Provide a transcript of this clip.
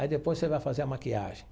Aí depois você vai fazer a maquiagem.